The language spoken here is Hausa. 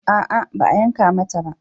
A'a ba a yanka mata ba